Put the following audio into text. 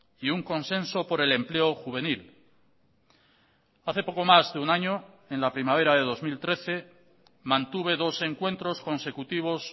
y un consenso por el empleo juvenil hace poco más de un año en la primavera de dos mil trece mantuve dos encuentros consecutivos